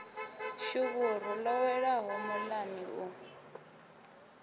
shuvhuru ḽo welaho muḽani u